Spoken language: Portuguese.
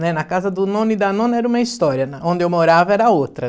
Na casa do nono e da nona era uma história, onde eu morava era outra.